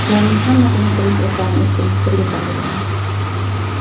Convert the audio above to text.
Ularning hammasini turmush o‘rtog‘im ikkimiz birga tanlaganmiz.